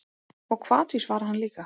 Og hvatvís var hann líka.